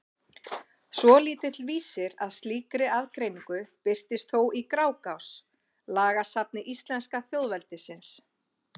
Svolítill vísir að slíkri aðgreiningu birtist þó í Grágás, lagasafni íslenska þjóðveldisins.